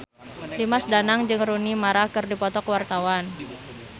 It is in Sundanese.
Dimas Danang jeung Rooney Mara keur dipoto ku wartawan